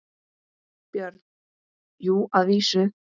BJÖRN: Jú, að vísu.